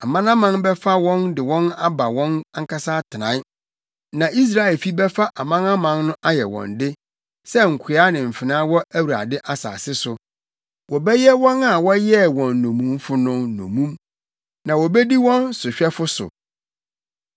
Amanaman bɛfa wɔn de wɔn aba wɔn ankasa atenae. Na Israelfi bɛfa amanaman no ayɛ wɔn de sɛ nkoa ne mfenaa wɔ Awurade asase so. Wɔbɛyɛ wɔn a wɔyɛɛ wɔn nnommumfo no nnommum na wobedi wɔn sohwɛfo so.